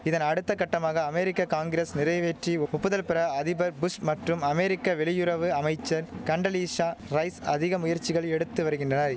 இதன் அடுத்த கட்டமாக அமெரிக்க காங்கிரஸ் நிறைவேற்றி ஒப்புதல் பெற அதிபர் புஷ் மற்றும் அமெரிக்க வெளியுறவு அமைச்சர் கண்டலீசா ரைஸ் அதிக முயற்சிகள் எடுத்து வரிகின்றனை